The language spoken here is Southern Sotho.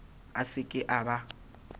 a se ke a ba